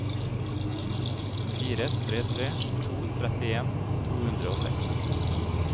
fire tre tre to trettien to hundre og seksti